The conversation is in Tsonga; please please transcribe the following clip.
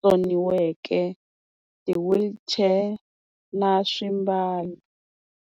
tsoniweke ti-wheelchair na swimbalo.